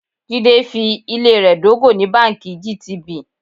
Jídé fi ilé rẹ dógò ní báńkì GTB.